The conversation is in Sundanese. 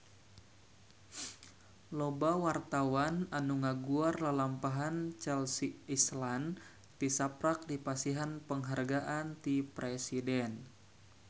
Loba wartawan anu ngaguar lalampahan Chelsea Islan tisaprak dipasihan panghargaan ti Presiden